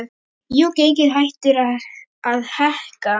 Jú, gengið hættir að hækka.